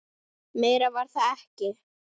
Meira var það ekki.